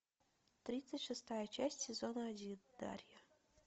тридцать шестая часть сезона один дарья